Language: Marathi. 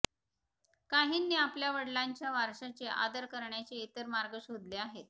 काहींनी आपल्या वडिलांच्या वारशाचे आदर करण्याचे इतर मार्ग शोधले आहेत